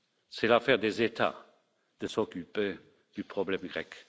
C'est l'affaire des États de s'occuper du problème